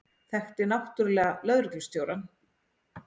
Þekkti náttúrlega lögreglustjórann.